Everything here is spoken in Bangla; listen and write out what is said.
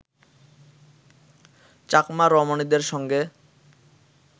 চাকমা রমণীদের সঙ্গে